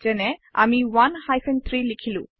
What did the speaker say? যেনে আমি 1 3 লিখিলো